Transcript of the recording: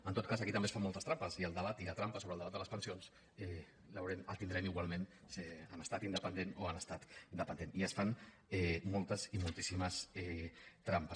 en tot cas aquí també es fan moltes trampes i la trampa sobre el debat de les pensions el tindrem igualment en estat independent o en estat dependent i es fan moltes i moltíssimes trampes